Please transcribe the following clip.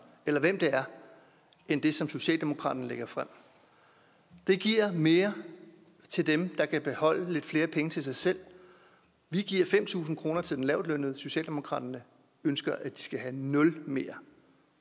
eller hvem det er end det som socialdemokratiet lægger frem det giver mere til dem der så kan beholde lidt flere penge til sig selv vi giver fem tusind kroner til den lavtlønnede socialdemokratiet ønsker at de skal have nul mere